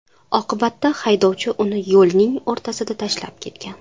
Oqibatda haydovchi uni yo‘lning o‘rtasida tashlab ketgan.